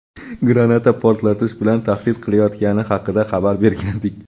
granata portlatish bilan tahdid qilayotgani haqida xabar bergandik.